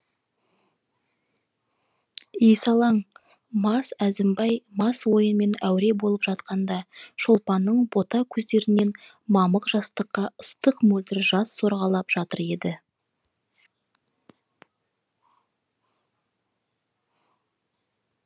есалаң мас әзімбай мас ойынмен әуре болып жатқанда шолпанның бота көздерінен мамық жастыққа ыстық мөлдір жас сорғалап жатыр еді